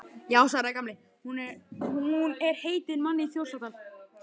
Já svaraði Gamli, hún er heitin manni í Þjórsárdal